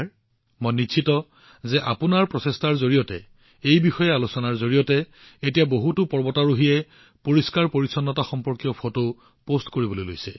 আৰু মোৰ সম্পূৰ্ণ বিশ্বাস যে আপোনাৰ প্ৰচেষ্টা আৰু এই বিষয়ে আলোচনাৰ জৰিয়তে এতিয়া বহুতো পৰ্বতাৰোহীয়ে পৰিষ্কাৰপৰিচ্ছন্নতা সম্পৰ্কীয় ফটো পোষ্ট কৰা আৰম্ভ কৰিছে